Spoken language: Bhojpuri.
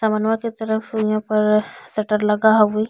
समनवा के तरफ यहाँ पर शटर लगा हवे।